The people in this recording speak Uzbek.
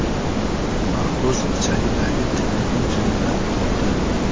Maxbus ichagidagi telefon jiringlab qoldi.